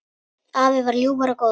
Afi var ljúfur og góður.